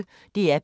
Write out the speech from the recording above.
DR P1